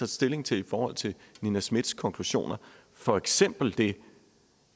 stilling til i forhold til nina smiths konklusioner for eksempel det